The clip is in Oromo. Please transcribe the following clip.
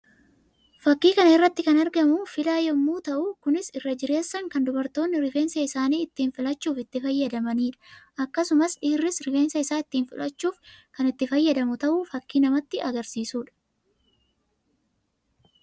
Fakkii kana irratti kan argamu filaa yammuu ta'u; kunis irra jirreessaan kan dubartoonni rifeensa isaanii ittii filachuuf itti fayyadamanii dha. Akkasumas dhiirris rifeensa isaa ittiin filachuuf kan itti fayyadamu ta'uu fakkii namatti agarsiisuu dha.